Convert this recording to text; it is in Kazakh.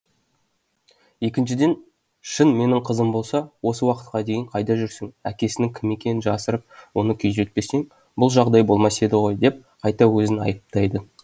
екіншіден шын менің қызым болса осы уақытқа дейін қайда жүрсің әкесінің кім екенін жасырып оны күйзелтпесең бұл жағдай болмас еді ғой деп қайта өзін айыптайды